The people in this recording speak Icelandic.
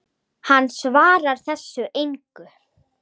Hann svarar þessu engu.